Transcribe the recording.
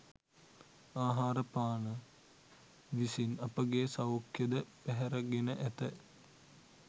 ආහාරපාන විසින් අපගේ සෞඛ්‍යය ද පැහැරගෙන ඇත.